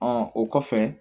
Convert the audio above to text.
o kɔfɛ